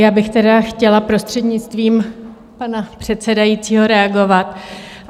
Já bych tedy chtěla prostřednictvím pana předsedajícího reagovat.